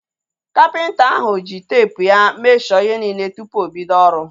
Kapịnta ahu ji teepu ya mesho ihe niile tupu obido ọrụ